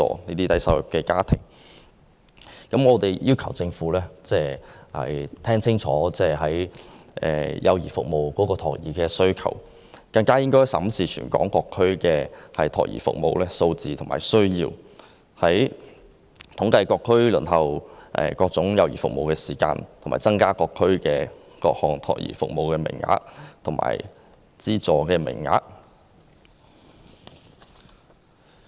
我們期望政府能辨清社會對幼兒服務的需求，仔細審視全港各區託兒服務的相關數字和需要，就每區各項幼兒服務的輪候時間進行統計，以及相應增加各區各項託兒服務的資助名額。